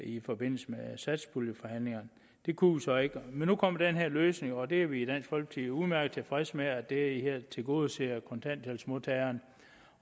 i forbindelse med satspuljeforhandlingerne det kunne vi så ikke men nu kommer den her løsning og det er vi i dansk folkeparti udmærket tilfredse med for det her tilgodeser kontanthjælpsmodtagerne